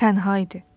Tənha idi.